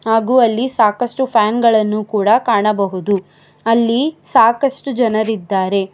ಹಾಗು ಅಲ್ಲಿ ಸಾಕಷ್ಟು ಫ್ಯಾನ್ ಗಳನ್ನು ಕೂಡ ಕಾಣಬಹುದು ಅಲ್ಲಿ ಸಾಕಷ್ಟು ಜನರಿದ್ದಾರೆ.